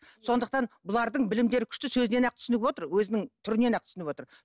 сондықтан бұлардың білімдері күшті сөзінен ақ түсініп отыр өзінің түрінен ақ түсініп отыр